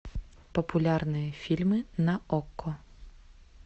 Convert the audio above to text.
популярные фильмы на окко